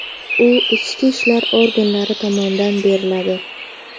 U ichki ishlar organlari tomonidan beriladi.